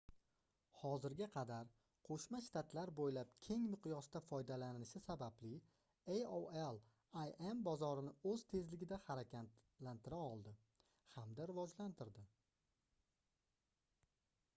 hozirga qadar qoʻshma shtatlar boʻylab keng miqyosda foydalanilishi sababli aol im bozorini oʻz tezligida harakatlantira oldi hamda rivojlantirdi